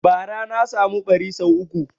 Bara na samu ɓari sau uku